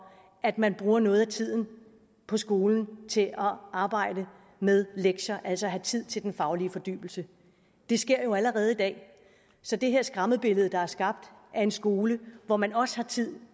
at man bruger noget af tiden på skolen til at arbejde med lektier altså at have tid til den faglige fordybelse det sker jo allerede i dag så det her skræmmebillede der er skabt af en skole hvor man også har tid